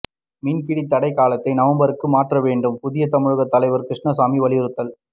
மீன்பிடி தடை காலத்தை நவம்பருக்கு மாற்ற வேண்டும் புதிய தமிழகம் தலைவர் கிருஷ்ணசாமி வலியுறுத்தல்